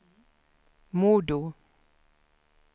MoDo